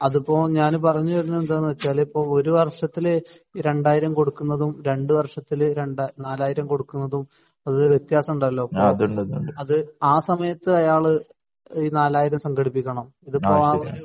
അതിപ്പോ ഞാന് പറഞ്ഞ് വരുന്നത് എന്താണെന്ന് വച്ചാല് ഇപ്പോ ഒരു വർഷത്തില് രണ്ടായിരം കൊടുക്കുന്നതും രണ്ട് വർഷത്തില് രണ്ട് നാലായിരം കൊടുക്കുന്നതും അത് വ്യത്യാസമുണ്ടല്ലോ? അത് ആ സമയത്ത് അയാള് ഈ നാലായിരം സംഘടിപ്പിക്കണം ഇതിപ്പോ ആ ഒരു